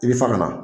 I bi fa ka na